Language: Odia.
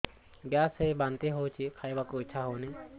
ଗ୍ୟାସ ହୋଇ ବାନ୍ତି ହଉଛି ଖାଇବାକୁ ଇଚ୍ଛା ହଉନି